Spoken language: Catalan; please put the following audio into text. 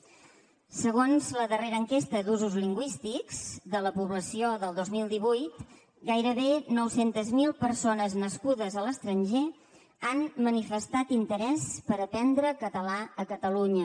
segons la darrera enquesta d’usos lingüístics de la població del dos mil divuit gairebé nou cents miler persones nascudes a l’estranger han manifestat interès per aprendre català a catalunya